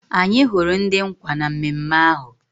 Anyị hụrụ ndị nkwa na mmemme ahụ